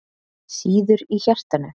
Sýður í hjartanu.